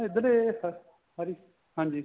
ਇੱਧਰ ਏ ਸਾਰੀ ਹਾਂਜੀ